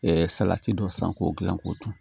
salati dɔ san k'o dilan k'o dun